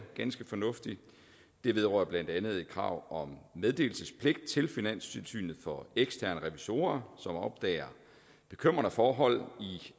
ganske fornuftigt det vedrører blandt andet krav om meddelelsespligt til finanstilsynet for eksterne revisorer som opdager bekymrende forhold